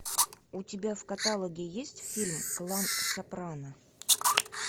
у тебя в каталоге есть фильм клан сопрано